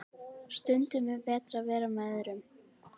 Stundum betra en að vera með öðrum.